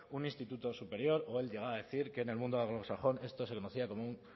un instituto superior o él llegaba a decir que en el mundo anglosajón esto se conocía como un